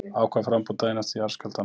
Ákvað framboð daginn eftir jarðskjálftann